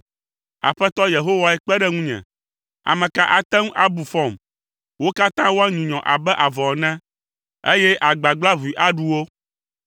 Aƒetɔ Yehowae kpe ɖe ŋunye. Ame ka ate ŋu abu fɔm? Wo katã woanyunyɔ abe avɔ ene eye agbagblaʋui aɖu wo.